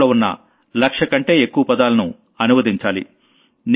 దాంట్లో ఉన్న లక్షకంటే ఎక్కువ పదాలను అనువదించాలి